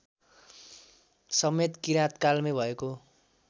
समेत किराँतकालमै भएको